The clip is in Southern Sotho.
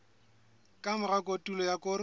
ka mora kotulo ya koro